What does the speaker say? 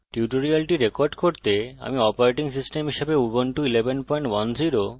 এই টিউটোরিয়ালটি রেকর্ড করতে আমি অপারেটিং সিস্টেম হিসাবে উবুন্টু 1110